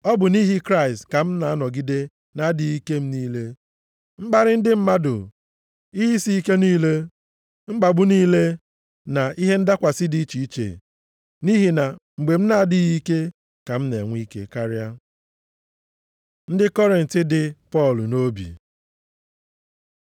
Ọ bụ nʼihi Kraịst ka m na-anọgide nʼadịghị ike m niile, mkparị ndị mmadụ, ihe isi ike niile, mkpagbu niile na ihe ndakwasị dị iche iche. Nʼihi na mgbe m na-adịghị ike ka m na-enwe ike karịa. Ndị Kọrint dị Pọl nʼobi